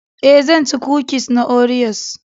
E,zan ci kukis na Oreos.